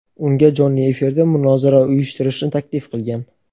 unga jonli efirda munozara uyushtirishni taklif qilgan.